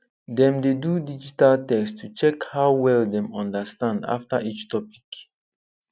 dem dey do digital test to check how well dem understand after each topic